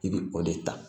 I bɛ o de ta